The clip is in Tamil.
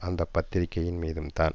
அந்த பத்திரிகையின் மீதும் தான்